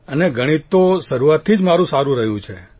અને ગણિત તો શરૂઆતથી જ મારૂં સારૂં રહ્યું છે